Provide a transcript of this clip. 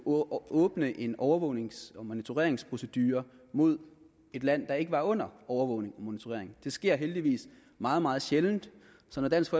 åbne en overvågnings og monitoreringsprocedure mod et land der ikke var under overvågning og monitorering det sker heldigvis meget meget sjældent så når dansk